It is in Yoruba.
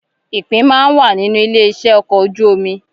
Ìpín máa n wà nínú ilé iṣẹ okọ̀ ojú omi.